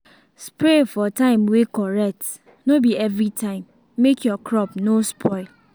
spray for time way correct no be everytime make your crop no spoil.